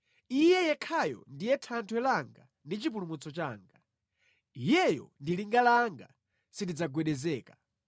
Iye yekhayo ndiye thanthwe langa ndi chipulumutso changa; Iyeyo ndi linga langa; sindidzagwedezeka.